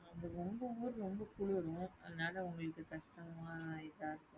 உங்க ஊரு ரொம்ப குளிரும் அதனால உங்களுக்கு கஷ்டமா இதா இருக்கும்.